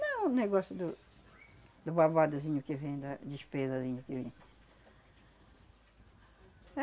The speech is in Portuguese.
Não, o negócio do babadozinho que vem, da despesazinha que vem.